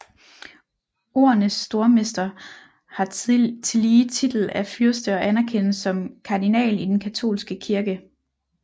Ordenens Stormester har tillige titel af fyrste og anerkendes som kardinal i den katolske kirke